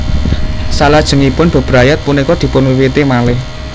Salajengipun bebrayat punika dipunwiwiti malih